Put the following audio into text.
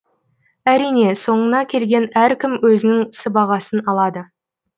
әрине соңына келген әркім өзінің сыбағасын алады